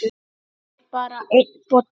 Það er bara einn bolli!